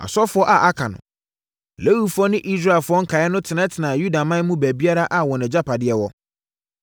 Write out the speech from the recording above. Asɔfoɔ a aka no, Lewifoɔ ne Israelfoɔ nkaeɛ no tenatenaa Yudaman mu baabiara a wɔn agyapadeɛ wɔ.